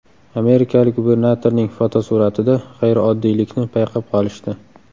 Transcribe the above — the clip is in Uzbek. Amerikalik gubernatorning fotosuratida g‘ayrioddiylikni payqab qolishdi.